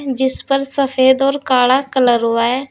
जिस पर सफेद और काला कलर हुआ है।